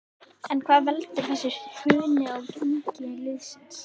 En hvað veldur þessu hruni á gengi liðsins?